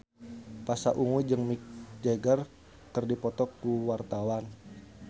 Pasha Ungu jeung Mick Jagger keur dipoto ku wartawan